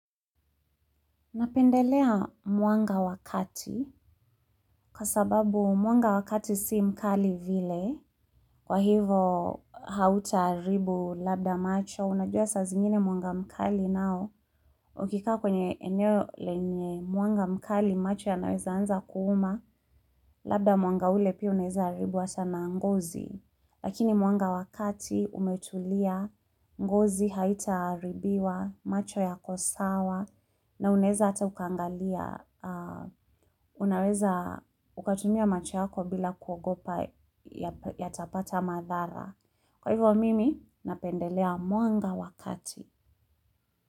Napendelea mwanga wakati, kwa sababu mwanga wa kati si mkali vile, kwa hivo hauta haribu labda macho, unajua sa zingine mwanga mkali nao, ukikaa kwenye eneo lenye mwanga mkali macho yanaweza anza kuuma, labda mwanga ule pia unaeza haribu ata na ngozi. Lakini mwanga wa kati umetulia, ngozi haita haribiwa, macho yakosawa, na unaeza ata ukaangalia, unaweza ukatumia macho yako bila kuogopa yatapata madhara. Kwa hivyo mimi, napendelea mwanga wa kati.